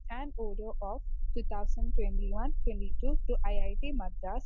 speaker 1 and audio of two thousand twenty one twenty two I I T Madras